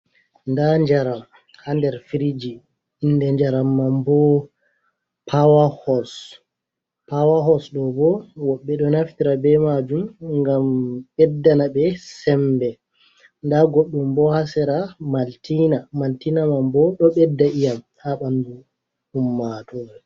Nda jaram ha nder firiji inde njaram mam bo pawahos. Pawahos do bo wobbe do naftira be majum gam beddana be sembe da goddum bo hasera maltina, maltina mam bo do bedda iyam ha bandu ummatore.